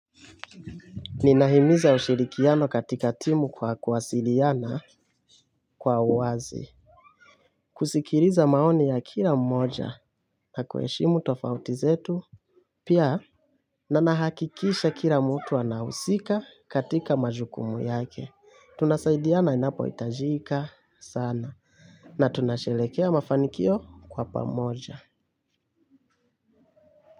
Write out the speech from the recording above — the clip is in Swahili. Ninahimiza ushirikiano katika timu kwa kuwasiliana kwa uwazi. Kusikiliza maoni ya kila mmoja na kuheshimu tofauti zetu. Pia na nahakikisha kila mtu anahusika katika majukumu yake. Tunasaidiana inapohitajika sana na tunasherekea mafanikio kwa pamoja.